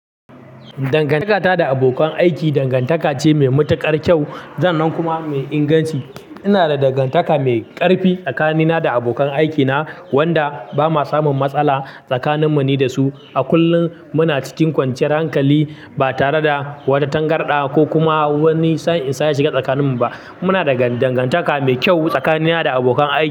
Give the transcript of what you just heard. Dangantaka ta da abokan aiki, dangantaka ce mai matuƙar kyau, sannan kuma mai inganci. Ina da dangantaka mai ƙarfi tsakanina da abokan aikina, wanda ba ma samun matsala tsakaninmu ni da su a kullum. Muna cikin kwanciyar hankali, ba tare da wata tangarɗa, ko kuma wani sa'insa ya shiga tsakaninmu ba. Muna da dangantaka mai kyau tsakanina da abokan aiki.